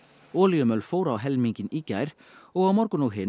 olíumöl fór á helminginn í gær og á morgun og hinn